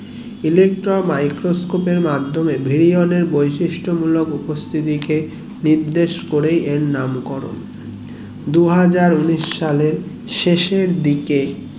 electromicroscope এর মাধ্যমে brilion এর বৈশিষ্ট গুলোর উপস্থিতিকে নির্দেশ করেই এর নাম করণ দুহাজার উনিশ সালে শেষের দিকে